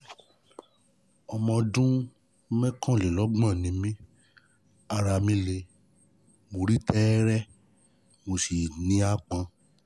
Ọmọ ọdún mọ́kànlélọ́gbọ̀n ni mí, ara mi le, mo rí tẹ́ẹ́rẹ́, mo sì ní aápọn